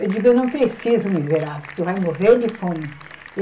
Eu digo, eu não preciso, miserável, tu vai morrer de fome.